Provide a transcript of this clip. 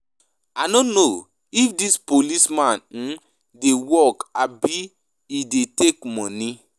I no know if dis police man um dey work abi he dey take money.